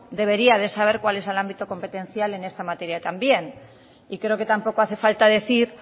debería de saber cuál es el ámbito competencial en esta materia también y creo que tampoco hace falta decir